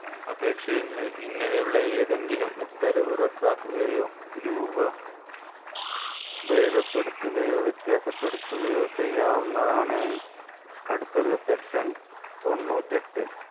അപേക്ഷയിൻമേൽ ഇങ്ങനെയുള്ള ഏതെങ്കിലും ഉത്തരവ് റദ്ദാക്കുകയോ രൂപ ബേധപ്പെടുത്തുകയോ വ്യത്യാസപ്പെടുത്തുകയോ ചെയ്യാവുന്നതാണ് അടുത്തത് secton തൊണ്ണൂറ്റെട്ട്